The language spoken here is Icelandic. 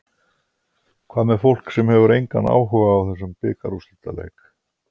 Hvað með fólk sem hefur engan áhuga á þessum bikarúrslitaleik?